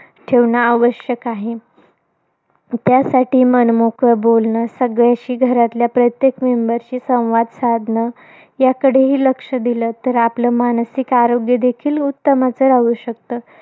ठेवणं आवश्यक आहे. त्यासाठी मनमोकळं बोलणं. सगळ्यांशी, घरातल्या प्रत्येक member शी संवाद साधणं. याकडेही लक्ष दिलत तर आपलं मानसिक आरोग्य देखील उत्तम असं राहू शकतं,